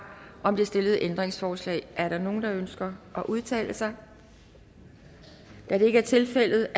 om det stillede ændringsforslag er der nogen der ønsker at udtale sig da det ikke er tilfældet